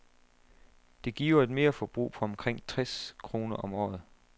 Det giver et merforbrug på omkring tres kroner om året.